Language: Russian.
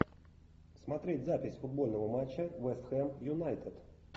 смотреть запись футбольного матча вест хэм юнайтед